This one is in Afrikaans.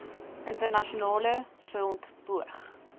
internasionale front poog